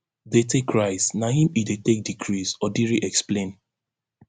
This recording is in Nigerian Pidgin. dey take rise na im e dey take decrease odiri explain